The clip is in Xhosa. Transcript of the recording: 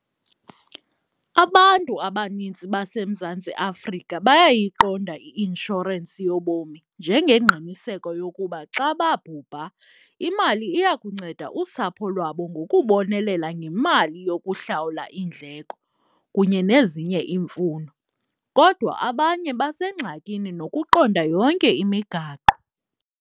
Abantu abanintsi baseMzantsi Afrika bayayiqonda i-inshorensi yobomi njengengqiniseko yokuba xa babhubha imali iya kunceda usapho lwabo ngokubonelela ngemali yokuhlawula iindleko kunye nezinye iimfuno, kodwa abanye besengxakini nokuqonda yonke imigaqo.